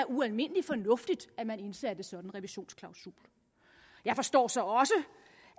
ualmindelig fornuftigt at man indsatte sådan en revisionsklausul jeg forstår så også